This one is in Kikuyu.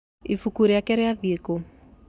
Ibuku rĩake rĩathire kũ?